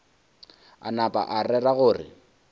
a napa a rera gore